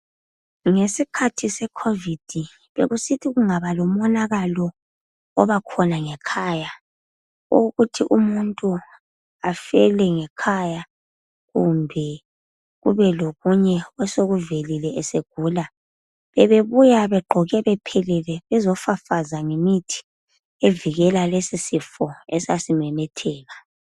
Ngesikhathi seCovid bekusithi nxa kungaba lomonakalo oba khona ngekhaya owokuthi umuntu afele ngekhaya kumbe kube lokunye osokuvelile esegula bebebuya begqoke bephelele bezofafaza ngemithi evikela lesi sifo esasi memetheka.